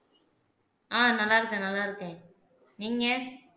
ஆஹ் நல்லா இருக்கேன் நல்லா இருக்கேன் நீங்க